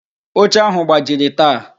Oche áhụ̀ gbajiri taa.